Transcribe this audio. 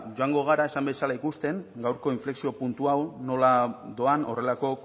joango gara ikusten gaurko inflexio puntu hau nola doan horrelako